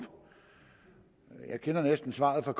jeg kender næsten svaret fra